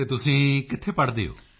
ਅਤੇ ਤੁਸੀਂ ਕਿੱਥੇ ਪੜ੍ਹਦੇ ਹੋ